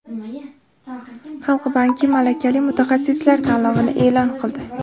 Xalq banki malakali mutaxassislar tanlovini e’lon qildi.